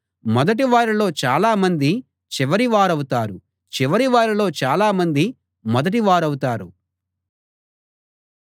మొదటివారిలో చాలామంది చివరి వారవుతారు చివరివారిలో చాలామంది మొదటి వారవుతారు